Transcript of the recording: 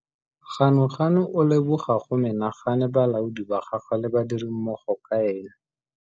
Ganuganu o leboga go menagane balaodi ba gagwe le badirimmogo ka ene.